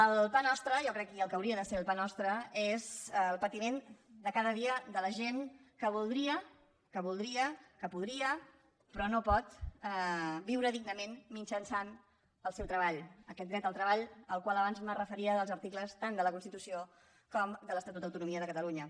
el pa nostre jo crec i el que hauria de ser el pa nostre és el patiment de cada dia de la gent que voldria que voldria que podria però no pot viure dignament mitjançant el seu treball aquest dret al treball al qual abans em referia dels articles tant de la constitució com de l’estatut d’autonomia de catalunya